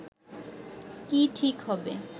কি ঠিক হবে